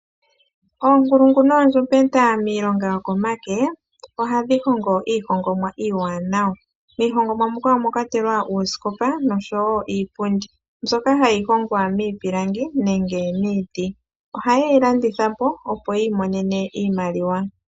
Oonkulungu noondjumbeta miilonga yokomake ohadhi hongo iihongomwa iiwanawa ,miihongomwa muka omwa kwatelwa oosikopa osho wo iipundi mbyoka hayi hongwa miipilangi nege miiti, oha ye yi landitha po opo yiimonene iimaliwa.